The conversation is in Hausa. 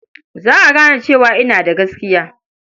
Za a gane cewa ina da gaskiya.